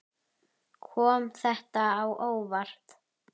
Kom þetta á óvart?